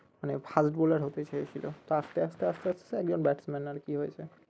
মানে fast bowler হতে চেয়েছিলো তো আস্তে আস্তে আস্তে আস্তে একজন batsman আরকি হয়েছে